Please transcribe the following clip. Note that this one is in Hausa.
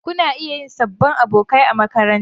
Kuna iya yin sabbin abokai a makaranta.